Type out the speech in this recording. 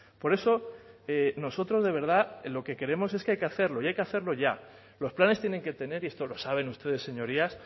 por eso nosotros de verdad lo que queremos es que hay que hacerlo y hay que hacerlo ya los planes tienen que tener y esto lo saben ustedes señorías